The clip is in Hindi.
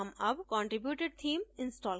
हम अब contributed theme install करेंगे